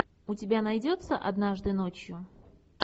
у тебя найдется однажды ночью